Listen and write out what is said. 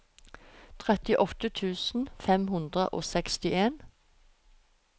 trettiåtte tusen fem hundre og sekstien